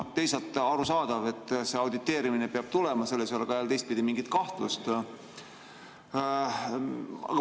Teisalt on arusaadav, et see auditeerimine peab tulema, selles ei ole teistpidi mingit kahtlust.